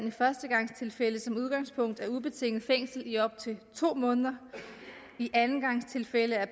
i førstegangstilfælde som udgangspunkt er ubetinget fængsel i op til to måneder i andengangstilfælde er